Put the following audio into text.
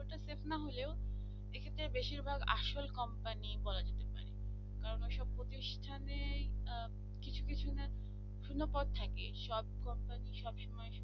fake না হলেও এক্ষেত্রে বেশিরভাগ আসল company বলা যেতে পারে কারণ ওরা সব প্রতিষ্ঠানে কিছু কিছু শোনপথ থাকে সব company সব সময়।